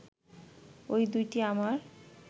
ঐ দুইটি আমার